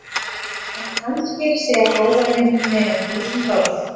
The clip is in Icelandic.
En kannski segja góðar myndir meira en þúsund orð.